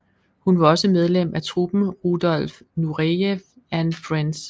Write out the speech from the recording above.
Hun var også medlem af truppen Rudolf Nureyev and Friends